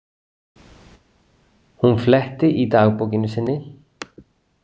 Hún fletti í dagbókinni sinni.